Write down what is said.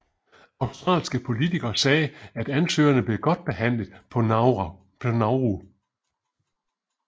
Australske politikere sagde at ansøgerne blev godt behandlet på Nauru